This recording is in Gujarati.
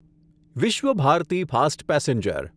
Visva Bharati fast passenger